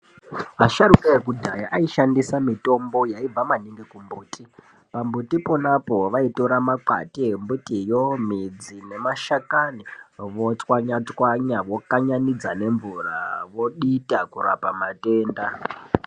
Vasharukwa vekudhaya aishandisa mitombo yaibva maningi kumbuti. Pambuti iponapo vaitora makwati embutiyo, midzi nemashakani votwanya twanya vokanyanidza nemvura vodita kurapa matenda.